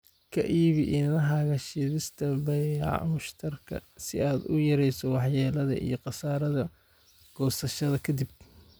Ka iibi iniinahaaga shiidista baayacmushtarka si aad u yarayso waxyeelada iyo khasaaraha goosashada kadib.